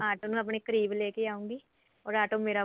auto ਨੂੰ ਆਪਣੇ ਕਰੀਬ ਲੈ ਕੇ ਆਊਗੀ or ਆਟੋ ਮੇਰਾ